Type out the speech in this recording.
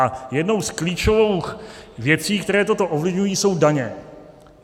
A jednou z klíčových věcí, které toto ovlivňují, jsou daně.